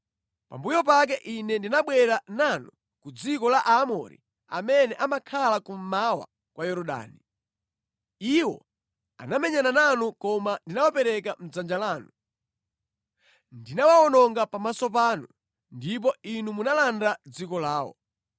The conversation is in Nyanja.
“ ‘Pambuyo pake Ine ndinabwera nanu ku dziko la Aamori amene amakhala kummawa kwa Yorodani. Iwo anamenyana nanu koma ndinawapereka mʼdzanja lanu. Ndinawawononga pamaso panu, ndipo inu munalanda dziko lawo.